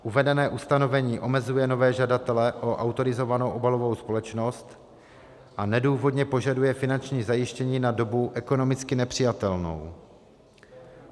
Uvedené ustanovení omezuje nové žadatele o autorizovanou obalovou společnost a nedůvodně požaduje finanční zajištění na dobu ekonomicky nepřijatelnou.